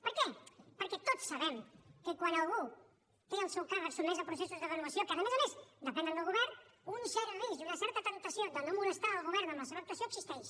per què perquè tots sabem que quan algú té el seu càrrec sotmès a processos de renovació que a més a més depenen del govern un cert risc i una certa temptació de no molestar el govern amb la seva actuació existeix